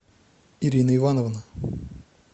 ирина ивановна